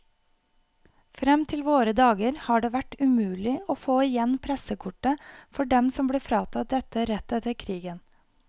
Frem til våre dager har det vært umulig å få igjen pressekortet for dem som ble fratatt dette rett etter krigen.